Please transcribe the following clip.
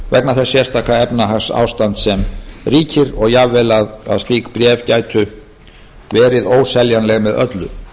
vegna þess sérstaka efnahagsástands sem ríkir og jafnvel að slík bréf gætu verið óseljanleg með öllu